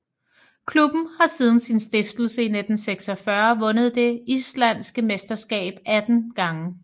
Klubben har siden sin stiftelse i 1946 vundet det islandske mesterskab 18 gange